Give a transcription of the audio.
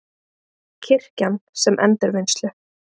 Kirkjan sem endurvinnslu